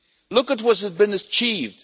Look at what has been achieved.